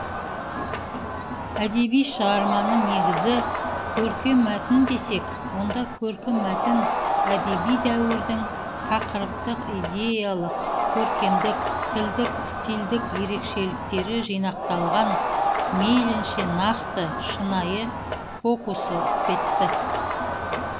әдеби шығарманың негізі көркем мәтін десек онда көркем мәтін әдеби дәуірдің тақырыптық идеялық көркемдік тілдік стильдік ерекшеліктері жинақталған мейлінше нақты шынайы фокусы іспетті